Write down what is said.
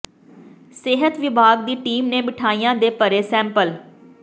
ਸਿਹਤ ਵਿਭਾਗ ਦੀ ਟੀਮ ਨੇ ਮਠਿਆਈਆਂ ਦੇ ਭਰੇ ਸੈਂਪਲ